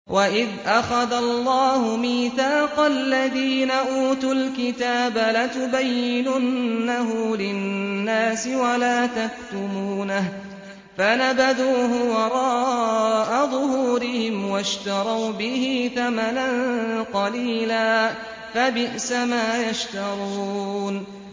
وَإِذْ أَخَذَ اللَّهُ مِيثَاقَ الَّذِينَ أُوتُوا الْكِتَابَ لَتُبَيِّنُنَّهُ لِلنَّاسِ وَلَا تَكْتُمُونَهُ فَنَبَذُوهُ وَرَاءَ ظُهُورِهِمْ وَاشْتَرَوْا بِهِ ثَمَنًا قَلِيلًا ۖ فَبِئْسَ مَا يَشْتَرُونَ